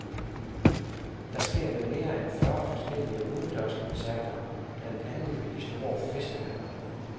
Det sker ved mere end fyrre forskellige udendørskoncerter, blandt andet ved de store festivaler.